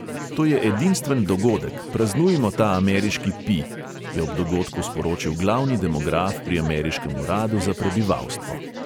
To je edinstven dogodek, praznujmo ta ameriški pi,' je ob dogodku sporočil glavni demograf pri ameriškem uradu za prebivalstvo.